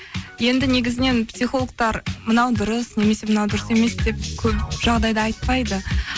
енді негізінен психологтар мынау дұрыс немесе мынау дұрыс емес деп көп жағдайда айтпайды